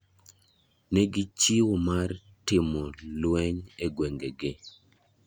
Ne gichiwo mar timo lwe e gwenge gi.